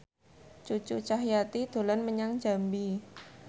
Cucu Cahyati dolan menyang Jambi